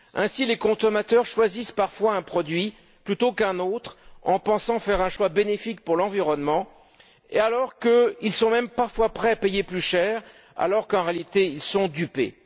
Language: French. Ainsi, les consommateurs choisissent parfois un produit plutôt qu'un autre en pensant faire un choix bénéfique pour l'environnement, qu'ils sont même parfois prêts à payer plus cher, alors qu'en réalité, ils sont dupés.